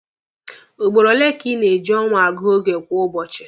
Ugboro ole ka ị na-eji ọnwa agụ oge kwa ụbọchị?